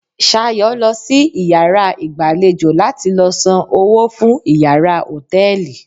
Sayo lo si iyàrá ìgbàlejò la ti lo san owó fún iyàrá hòtẹ́ẹ̀lì